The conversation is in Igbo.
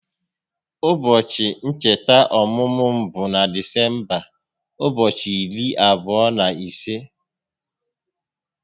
Ụbọchị ncheta ọmụmụ m bụ na Disemba ụbọchị iri abụọ na ise